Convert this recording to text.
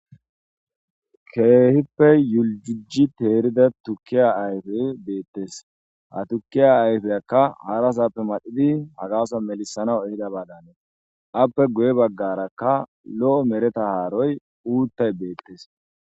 Keehippe yuljiji teerida tukke ayfey beettees.ha tukkiya ayfeykka harasappe maxidi hagason melathanaw ehidaabadan hanees.aappe guye baggaarakkalo7o mereta haaro guutay beettees.